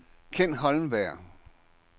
Ken Holmberg